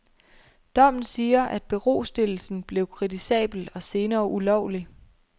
Dommen siger, at berostillelsen blev kritisabel og senere ulovlig.